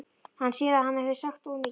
Hann sér að hann hefur sagt of mikið.